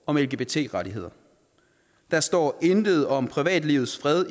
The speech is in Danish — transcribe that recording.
om lgbt rettigheder der står intet om privatlivets fred